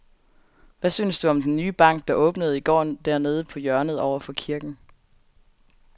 Hvad synes du om den nye bank, der åbnede i går dernede på hjørnet over for kirken?